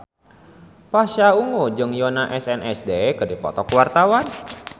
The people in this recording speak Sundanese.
Pasha Ungu jeung Yoona SNSD keur dipoto ku wartawan